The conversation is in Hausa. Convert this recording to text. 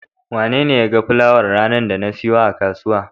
Wanene ya ga fulawar ranar da na siyo a kasuwa?